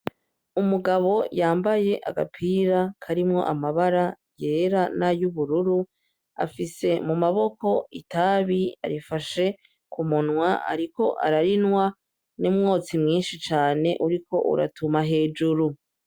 Umugabo yambaye agapira karimwo amabara yera nay'ubururu, afise mu maboko itabi arifashe k'umunwa ariko ararinwa n'umwotsi mwinshi cane uriko uratuma hejuru.